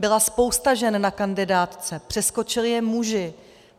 Byla spousta žen na kandidátce, přeskočili je muži.